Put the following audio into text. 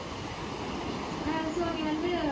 அஹ் so நீ வந்து